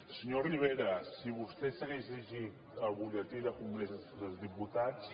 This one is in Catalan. senyor rivera si vostè s’hagués llegit el butlletí del congrés dels diputats